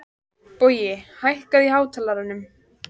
Bogi, hækkaðu í hátalaranum.